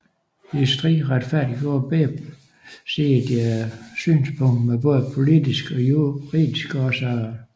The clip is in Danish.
I striden retfærdiggjorde begge sider deres synspunkt med både politiske og juridiske årsager